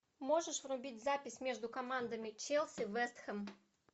можешь врубить запись между командами челси вест хэм